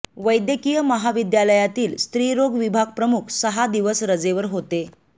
वैद्यकीय महाविद्यालयातील स्त्रीरोग विभाग प्रमुख सहा दिवस रजेवर होते